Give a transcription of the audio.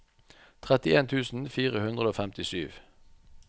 trettien tusen fire hundre og femtisju